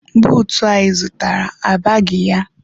Buutu a zụtara abaghị ya.